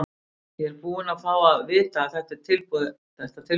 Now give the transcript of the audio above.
Ég er bara búinn að fá að vita að þetta tilboð er komið.